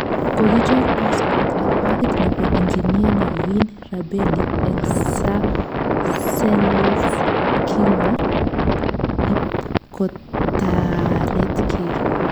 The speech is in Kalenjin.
Kogichor passpot ak pagit nebo enjinia Naveen Rabelli eng sarcelles kingwo ipkotaretkei